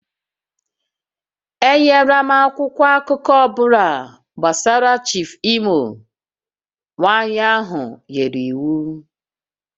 Enyela m akwụkwọ akụkọ ọ bụla gbasara Chif Imo! Nwanyị ahụ nyere iwu